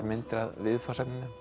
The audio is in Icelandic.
myndir af viðfangsefninu